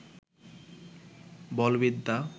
বলবিদ্যা